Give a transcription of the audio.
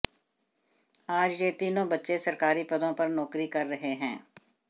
आज ये तीनों बच्चे सरकारी पदों पर नौकरी कर रहे हैं